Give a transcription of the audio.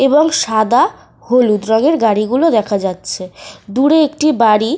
এবং সাদা হলুদ রঙের গাড়িগুলো দেখা যাচ্ছে। দূরে একটি বাড়ি --